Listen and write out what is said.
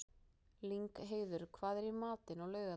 Lyngheiður, hvað er í matinn á laugardaginn?